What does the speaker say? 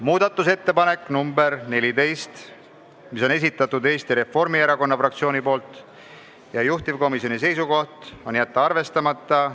Muudatusettepanek nr 14 Eesti Reformierakonna fraktsioonilt, juhtivkomisjoni seisukoht: jätta arvestamata.